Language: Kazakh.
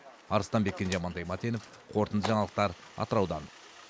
арыстанбек кенже амантай матенов қорытынды жаңалықтар атыраудан